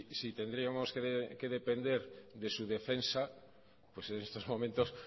si tendríamos que depender de su defensa pues en estos momentos